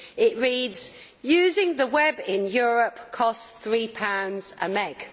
It reads, Using the web in Europe costs three pounds a meg'.